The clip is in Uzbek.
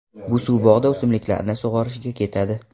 Bu suv bog‘da o‘simliklarni sug‘orishga ketadi.